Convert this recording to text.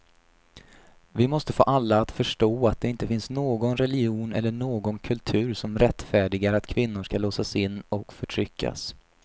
Vi måste få alla att förstå att det inte finns någon religion eller någon kultur som rättfärdigar att kvinnor ska låsas in och förtryckas.